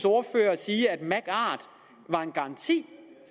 ordfører sige at magart var en garanti